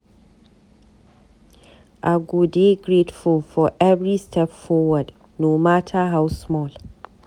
I go dey grateful for every step forward, no mata how small.